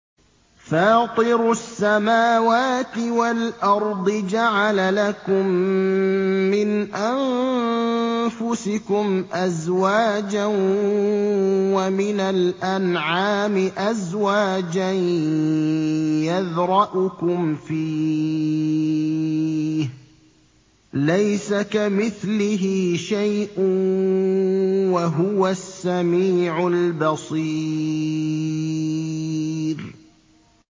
فَاطِرُ السَّمَاوَاتِ وَالْأَرْضِ ۚ جَعَلَ لَكُم مِّنْ أَنفُسِكُمْ أَزْوَاجًا وَمِنَ الْأَنْعَامِ أَزْوَاجًا ۖ يَذْرَؤُكُمْ فِيهِ ۚ لَيْسَ كَمِثْلِهِ شَيْءٌ ۖ وَهُوَ السَّمِيعُ الْبَصِيرُ